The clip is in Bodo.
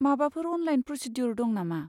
माबाफोर अनलाइन प्रसिद्युर दं नामा?